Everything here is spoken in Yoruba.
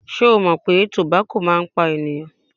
Ṣé o mọ̀ pé tobako máa ń pa ènìyàn?